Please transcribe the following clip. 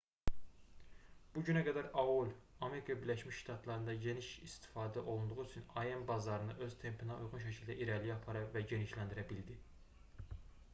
bu günə qədər aol amerika birləşmiş ştatlarında geniş şəkildə istifadə olunduğu üçün im bazarını öz tempinə uyğun şəkildə irəliyə apara və genişləndirə bildi